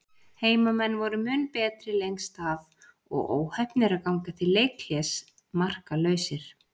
Heimamenn voru mun betri lengst af og óheppnir að ganga til leikhlés markalausir.